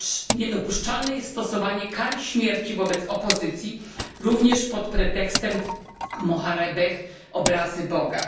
Niedopuszczalne jest stosowanie kary śmierci wobec opozycji, również pod pretekstem moharebeh obrazy Boga.